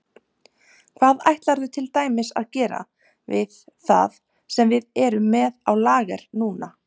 Hvað ætlarðu til dæmis að gera við það sem við erum með á lager núna?